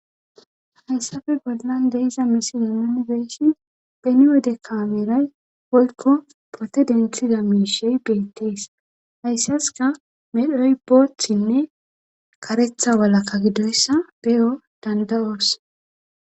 hayssafe bollan de'iza misi yumanibeyshi beni wode kaameray olko pote dentida miishey beettees hayssaska medhroy boothinne karetha walakka gidoyssa beyo danda7oos